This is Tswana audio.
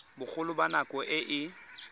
bogolo jwa nako e e